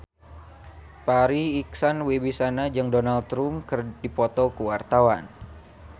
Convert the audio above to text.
Farri Icksan Wibisana jeung Donald Trump keur dipoto ku wartawan